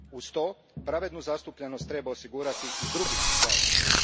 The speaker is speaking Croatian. Uz to, pravednu zastupljenost treba osigurati i drugim zajednicama.